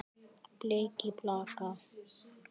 Þeir léku illa.